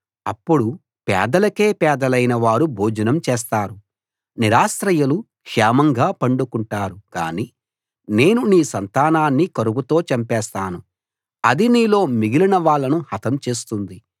అప్పుడు పేదలకే పేదలైన వారు భోజనం చేస్తారు నిరాశ్రయులు క్షేమంగా పండుకుంటారు కాని నేను నీ సంతానాన్ని కరువుతో చంపేస్తాను అది నీలో మిగిలిన వాళ్ళను హతం చేస్తుంది